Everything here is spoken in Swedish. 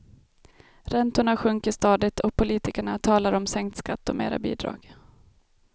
Räntorna sjunker stadigt och politikerna talar om sänkt skatt och mera bidrag.